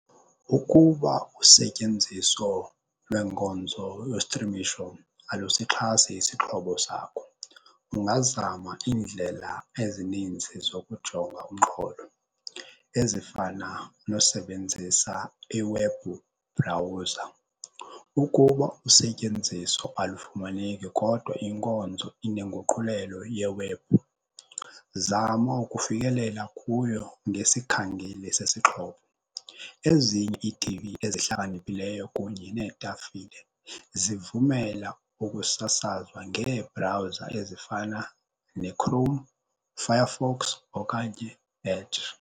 Uukuba usetyenziso lweenkonzo yostrimisho alusixhase isixhobo sakho ungazama iindlela ezininzi zokujonga umxholo ezifana nosebenzisa iwebhu bhrawuza. Ukuba usetyenziso alufumaneki kodwa inkonzo inenguqulelo yewebhu, zama ukufikelela kuyo ngesikhangeli sesixhobo. Ezinye iitivi ezihlakaniphileyo kunye neetafile zivumela ukusasazwa ngeebrawuza ezifana neChrome, Firefox okanye Edge.